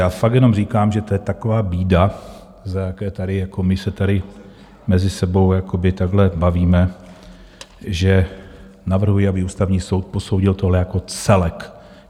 Já fakt jenom říkám, že to je taková bída, za jaké tady jako my se tady mezi sebou jakoby takhle bavíme, že navrhuji, aby Ústavní soud posoudil tohle jako celek.